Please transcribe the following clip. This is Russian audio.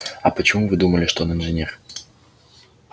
а почему вы думали что он инженер